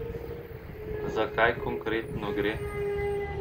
Za kaj konkretno gre?